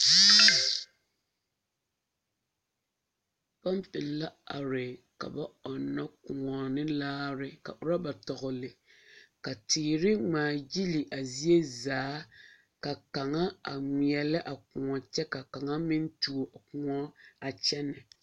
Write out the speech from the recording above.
Pompi la are ka ba ɔnna kõɔ ne laare ka rɔba tɔgle ka teere ŋmaa gyili a zie zaa ka kaŋa ŋmeelɛ a kõɔ kyɛ ka kaŋa meŋ tuo kõɔ a kyɛnɛ.